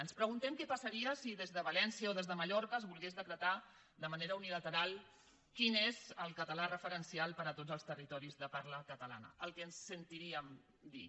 ens preguntem què passaria si des de valència o des de mallorca es volgués decretar de manera unilateral quin és el català referencial per a tots els territoris de parla catalana el que sentiríem dir